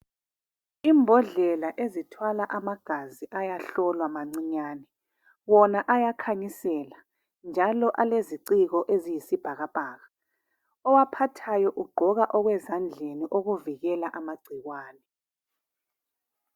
imbodlela ezithwala amagazi ayahlolwa mancinyane wona ayakhanyisela njalo aleziciko eziyisibhakabhaka owaphathayo ugqoka okwezandleni okuvikela amagcikwane